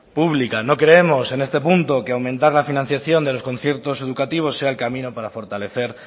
pública no creemos en este punto que aumentar la financiación de los conciertos educativos sea el camino para fortalecer